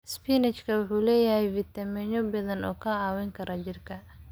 Isbaanishka waxay leedahay fiitamiino badan oo ka caawiya jidhka.